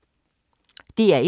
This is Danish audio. DR1